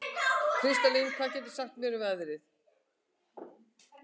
Kristlind, hvað geturðu sagt mér um veðrið?